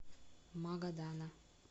магадана